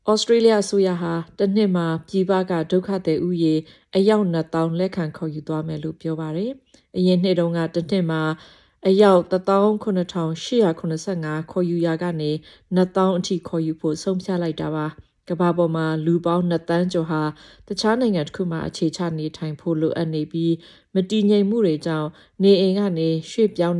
ဩစတြေးလျအစိုးရက တစ်နှစ်မှာ ပြည်ပက ဒုက္ခသည် ဦးရေ အယောက် ၂၀၀၀၀ လက်ခံ ခေါ်ယူသွားမယ်လို့ ပြောပါတယ်။ အရင်နှစ်တုန်းက တစ်နှစ်မှာ အယောက် ၁၇၈၇၅ ခေါ်ယူရာကနေ ၂၀၀၀၀ ခေါ်ယူဖို့ ဆုံးဖြတ်လိုက်တာပါ။ ကမ္ဘာ့ပေါ်မှာ လူပေါင်း ၂ သန်းကျော် တခြားနိုင်ငံတစ်ခုမှာ အခြေချ နေထိုင်ဖို့ လိုအပ်နေပြီး မတည်ငြိမ်မှုတွေကြောင့် နေအိမ်ကနေ ရွှေ့ပြောင်း